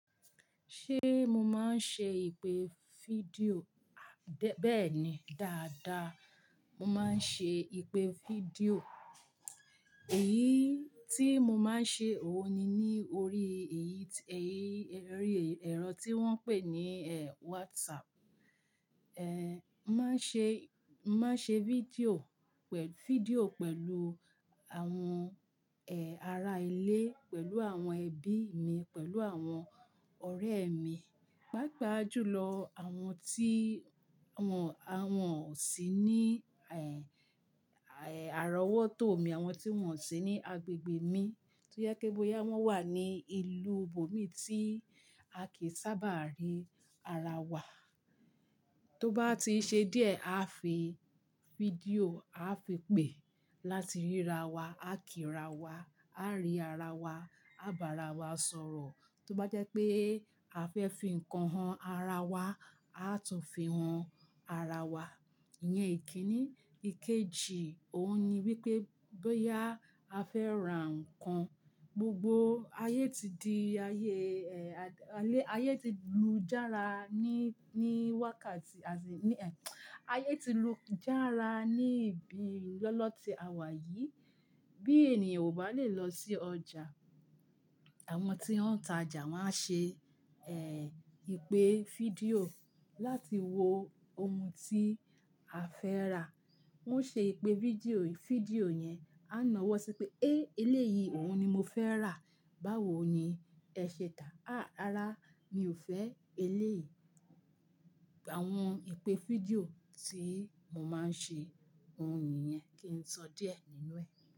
Ṣé mo máa ń ṣe ìpè fídíò? Béèni dáadáa mo máa ń ṣe ìpè fídíò. Èyí tí mo máa ń ṣe òun ni ní orí èyí, èyí, ẹrọ tí wọ́n ń pè ní, eh, WhatsApp. Eh, máa ń ṣe, máa ń ṣe fídíò pẹ̀, fídíò pẹ̀lú àwọn, eh, ará ilé, pẹ̀lú àwọn ẹbí mi, pẹ̀lú àwọn ọ̀rẹ́ mi. Paa paa jùlọ àwọn tí, àwọn, àwọn ò sí ní, ẹh, àrówótó mi, àwọn tí wọ́n ò sí ní agbègbè mi. Tí ó jẹ kí bóyá wọ́n wà ní ìlú bòmí tí a kì í sábà rí ara wa. Tó bá ti ṣe díẹ̀, a fi fídíò, a fi pè láti ríra wa, a kí ra wa, a rí ara wa, a bá ara wa sọ̀rọ̀. Tó bá jẹ́ pé a fẹ́ fi ǹkan han ara wa, a tún fi han ara wa. Ìyẹn ìkíni. Ikeji òun ni wípé bóyá a fẹ́ ra ǹkan, gbogbo ayé ti di ayé, eh, ayé ti lu jára ní, ní wákàtí, ní, eh, ayé ti lu jára ní ìbí lọ́lọ́ tí àwa yìí. Bí ènìyàn kò bá lè lọ sí ọjà, àwọn tí wọ́n ń ta ọjà máa ṣe, eh, ìpè fídíò láti wo ohun tí a fẹ́ rà. Wọ́n ṣe ìpè fídíò, fídíò yẹn, a nàá wọ́ sí pé "E! Eléyìí òun ni mo fẹ́ rà. Báwo ni ẹ ṣe táa? Àáa, rárá mi ò fẹ́ eléyìí." Àwọn ìpè fídíò tí mo máa ń ṣe, òun niyẹn kì í sọ díẹ̀ nínú ẹ.